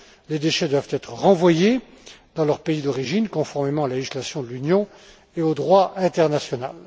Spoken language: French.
Les déchets doivent être renvoyés dans leur pays d'origine, conformément à la législation de l'Union et au droit international.